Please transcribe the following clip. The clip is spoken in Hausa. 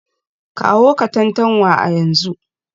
Kawo Katantanwa a yanzu